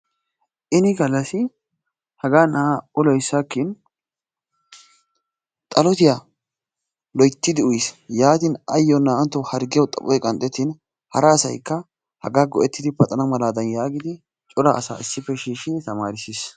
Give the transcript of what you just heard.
ini gallassi hagaa na'aa ulloy sakkin xallotiya loyttidi uyyiis, yaatin ayyo naa''antto harggiyaw xaphoy qanxxettin, hara asaykka haga go''ettidi paxana malaa yaagidi coraa asa issippe shiishshidi tamaarissiis.